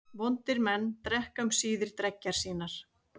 Vondir menn drekka um síðir dreggjar sínar.